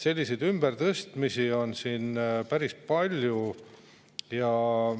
Selliseid ümbertõstmisi on siin päris palju.